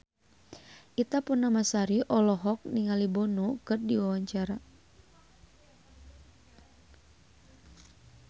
Ita Purnamasari olohok ningali Bono keur diwawancara